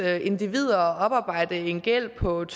individer at oparbejde en gæld på et